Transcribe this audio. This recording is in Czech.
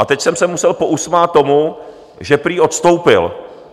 A teď jsem se musel pousmát tomu, že prý odstoupil.